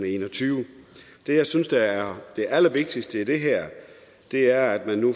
en og tyve det jeg synes er er det allervigtigste i det her er at man nu